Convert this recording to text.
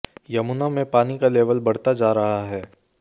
यमुना में पानी का लेवल बढ़ता जा रहा है